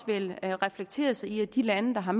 vil reflekteres i at de lande der har